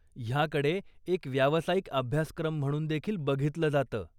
ह्याकडे एक व्यावसायिक अभ्यासक्रम म्हणून देखील बघितलं जातं.